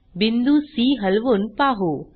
बिंदू सी हलवून पाहू